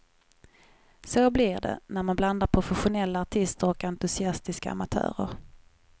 Så blir det, när man blandar professionella artister och entusiastiska amatörer.